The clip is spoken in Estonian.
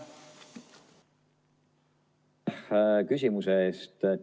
Aitäh küsimuse eest!